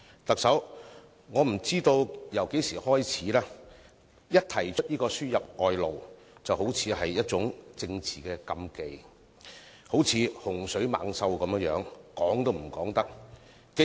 特首，不知從何時開始，一提到輸入外勞，便好像觸及政治禁忌；這個議題就如洪水猛獸般，說都不能說。